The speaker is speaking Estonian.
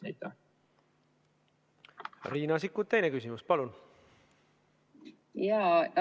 Riina Sikkut, teine küsimus, palun!